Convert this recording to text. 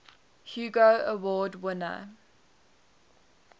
hugo award winner